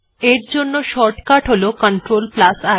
এর জন্য শর্টকাট হল CTRLI